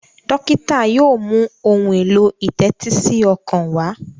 dókítà yóò mú Ohun èlò ìtẹ́tísí ọkàn wá.